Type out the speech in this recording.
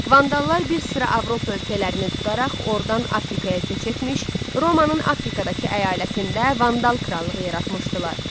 Vandallar bir sıra Avropa ölkələrini tutaraq, ordan Afrikaya köç etmiş, Romanın Afrikadakı əyalətində Vandal krallığı yaratmışdılar.